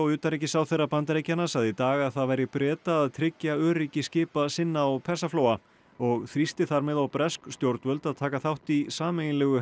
utanríkisráðherra Bandaríkjanna sagði í dag að það væri Breta að tryggja öryggi skipa sinna á Persaflóa og þrýsti þar með á bresk stjórnvöld að taka þátt í sameiginlegu